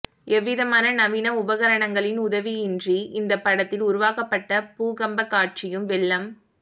எவ்விதமான நவீன உபகரணங்களின் உதவியும் இன்றி இந்த படத்தில் உருவாக்கபட்ட பூகம்ப காட்சியும் வெள்ளம்